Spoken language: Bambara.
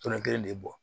Tɔnɔ kelen de bɛ bɔ